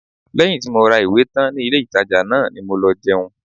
Lẹ́yìn tí mo ra ìwé tán ní ilé-ìtàjà náà ni mo lọ jẹun